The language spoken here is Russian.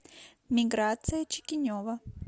миграция чикинева